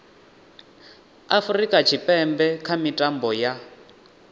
afurika tshipembe kha mitambo ya